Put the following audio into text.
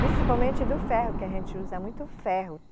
Principalmente do ferro, que a gente usa muito ferro.